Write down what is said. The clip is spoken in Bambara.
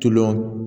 Tulo